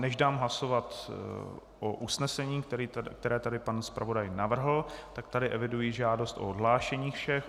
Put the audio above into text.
Než dám hlasovat o usnesení, které tady pan zpravodaj navrhl, tak tady eviduji žádost o odhlášení všech.